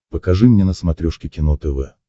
покажи мне на смотрешке кино тв